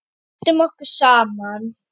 Við bundum okkur saman.